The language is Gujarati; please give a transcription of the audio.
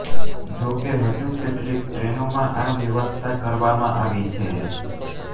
જો કે હજુ કેટલીક ટ્રેનોમાં આ વ્યવસ્થા કરવામાં આવી છે